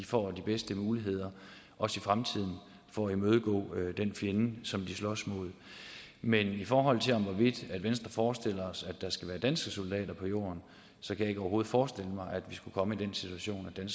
får de bedste muligheder også i fremtiden for at imødegå den fjende som de slås mod men i forhold til om venstre forestiller sig at der skal være danske soldater på jorden så kan jeg overhovedet ikke forestille mig at vi skulle komme i den situation at